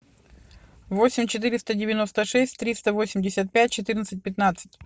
восемь четыреста девяносто шесть триста восемьдесят пять четырнадцать пятнадцать